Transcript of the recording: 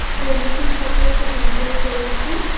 বন্ধুদের সাথে খুব enjoy করেছি